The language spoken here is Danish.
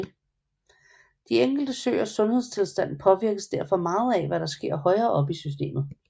De enkelte søers sundhedstilstand påvirkes derfor meget af hvad der sker højere oppe i systemet